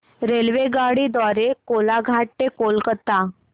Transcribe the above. रेल्वेगाडी द्वारे कोलाघाट ते कोलकता